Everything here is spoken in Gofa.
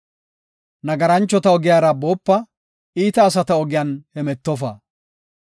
Nagaranchota ogiyara boopa; iita asata ogiyan hemetofa.